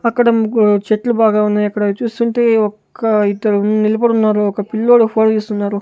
అక్కడ ముగ్గు చెట్లు బాగా ఉన్నాయి అక్కడ అవి చూస్తుంటే ఒక్క ఇద్దరు నిలబడి ఉన్నారు ఒక పిల్లోడు ఫోటో తీస్తున్నారు.